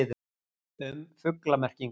Um fuglamerkingar.